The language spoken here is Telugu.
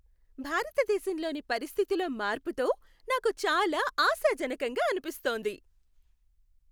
భారతదేశంలోని పరిస్థితిలో మార్పుతో నాకు చాలా ఆశాజనకంగా అనిపిస్తోంది.